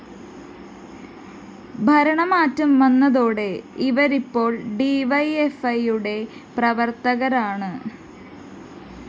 ഭരണമാറ്റം വന്നതോടെ ഇവരിപ്പോള്‍ ഡിവൈഎഫ്‌ഐയുടെ പ്രവര്‍ത്തകരാണ്